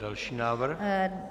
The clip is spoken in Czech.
Další návrh.